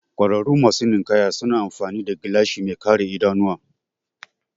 Ƙwararru masu ninkaya suna amfani da gilashi mai kare idanuwa